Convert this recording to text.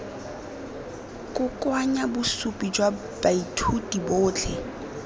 kokoanya bosupi jwa baithuti botlhe